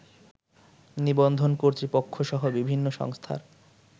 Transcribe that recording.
নিবন্ধন কর্তৃপক্ষসহ বিভিন্ন সংস্থার